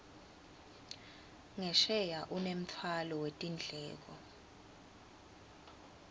ngesheya unemtfwalo wetindleko